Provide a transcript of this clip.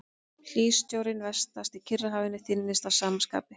Hlýsjórinn vestast í Kyrrahafinu þynnist að sama skapi.